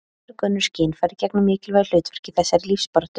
mörg önnur skynfæri gegna mikilvægu hlutverki í þessari lífsbaráttu